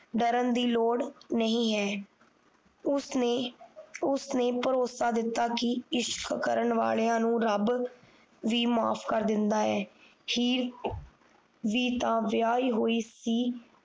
ਡਰਨ ਦੀ ਲੋੜ ਨਹੀਂ ਹੈ ਉਸ ਨੇ ਉਸ ਨੇ ਭਰੋਸਾ ਦਿੱਤਾ ਕਿ ਇਸ਼ਕ ਕਰਨ ਵਾਲੀਆਂ ਨੂੰ ਰੱਬ ਵੀ ਮਾਫ ਕਰ ਦਿੰਦਾ ਹੈ ਹੀਰ ਵੀ ਤਾਂ ਵਿਆਹੀ ਹੋਈ ਸੀ